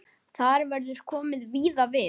Þar verður komið víða við.